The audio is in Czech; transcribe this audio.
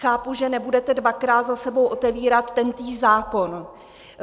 Chápu, že nebudete dvakrát za sebou otevírat tentýž zákon.